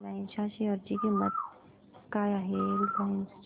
Reliance च्या share ची किंमत काय आहे